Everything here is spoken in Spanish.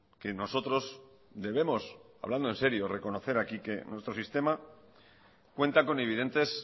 que nosotros debemos hablando en serio reconocer aquí que nuestro sistema cuenta con evidentes